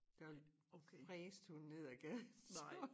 Der fræsede hun ned af gaden så